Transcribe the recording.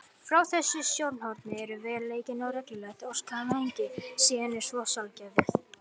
Frá þessu sjónarhorni er veruleikinn og reglulegt orsakasamhengi síður en svo sjálfgefið.